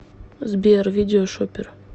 сбер видео шопер